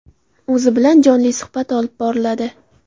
O‘zi bilan jonli suhbat olib boriladi.